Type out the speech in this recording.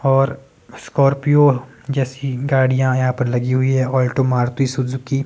और स्कॉर्पियो जैसी गाड़ियां यहां पर लगी हुई है। Alto Maruti Suzuki --